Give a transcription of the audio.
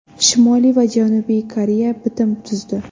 Shimoliy va Janubiy Koreya bitim tuzdi.